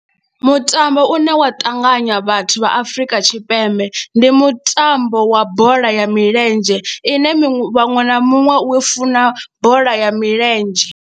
Mutambo une wa ṱanganya vhathu vha Afrika Tshipembe ndi mutambo wa bola ya milenzhe ine muṅwe na muṅwe u funa bola ya milenzhe.